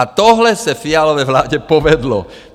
A tohle se Fialově vládě povedlo.